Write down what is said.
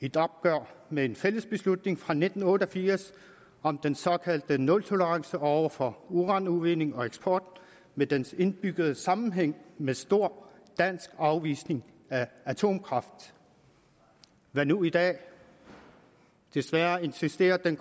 et opgør med en fælles beslutning fra nitten otte og firs om den såkaldte nultolerance over for uranudvinding og eksport med dens indbyggede sammenhæng med stor dansk afvisning af atomkraft hvad nu i dag desværre insisterer den